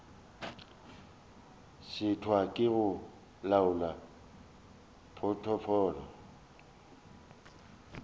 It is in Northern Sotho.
šitwa ke go laola potfolio